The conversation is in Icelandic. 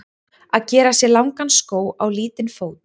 Að gera sér langan skó á lítinn fót